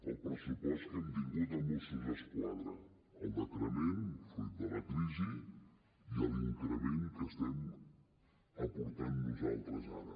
el pressupost que hem tingut a mossos d’esquadra el decrement fruit de la crisi i l’increment que estem aportant nosaltres ara